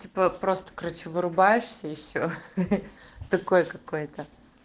типа просто короче вырубаешься и все такое какое то